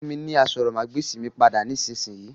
Fún mi ni àsòrọmagbesi mi pada nisinyi!